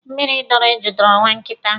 Mmịrị dọọrọ eju dọọrọ nwa nkịta.